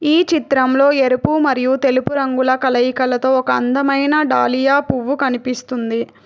ఈ చిత్రంలో ఎరుపు మరియు తెలుపు రంగుల కలయికలతో ఒక అందమైన డాలియా పువ్వు కనిపిస్తుంది.